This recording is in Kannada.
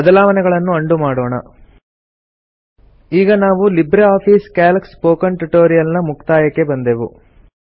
ಬದಲಾವಣೆಗಳನ್ನು ಉಂಡೋ ಮಾಡೋಣ ಈಗ ನಾವು LibreOffice Calc spoken tutorial ನ ಮುಕ್ತಾಯಕ್ಕೆ ಬಂದೆವು